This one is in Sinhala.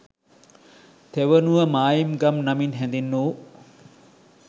තෙවනුව මායිම් ගම් නමින් හැඳින්වූ